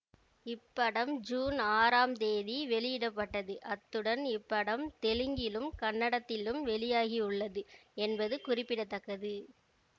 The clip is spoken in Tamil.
இப்படம் ஜூன் ஆறாம் தேதி வெளியிட பட்டது அத்துடன் இப்படம் தெலுங்கிலும் கன்னடத்திலும் வெளியாகிவுள்ளது என்பது குறிப்பிட தக்கது